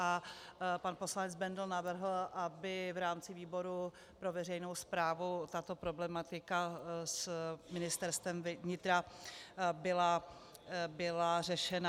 A pan poslanec Bendl navrhl, aby v rámci výboru pro veřejnou správu tato problematika s Ministerstvem vnitra byla řešena.